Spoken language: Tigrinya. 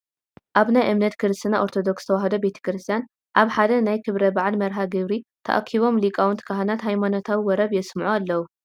ኣብ ናይ እምነት ክርስትና ኦርቶዶክስ ተዋህዶ ቤተ ክርስትያ ኣብ ሓደ ናይ ክብረ በዓል መርሃ ግብሪ ተኣኪቦም ሊቃውንቲ ካህናት ሃይማኖታዊ ወረብ የስምዑ ኣለው፡፡